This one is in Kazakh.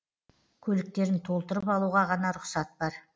көліктерін толтырып алуға ғана рұқсат бар